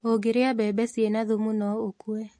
Ūngĩrĩa mbembe ciĩna thumu no ũkue